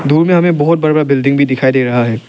दूर मे हमें बहुत बड़ा बड़ा बिल्डिंग भी दिखाई दे रहा है।